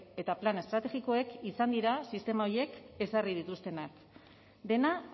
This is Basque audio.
eta plan estrategikoek izan dira sistema horiek ezarri dituztenak dena